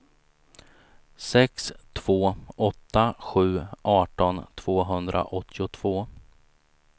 sex två åtta sju arton tvåhundraåttiotvå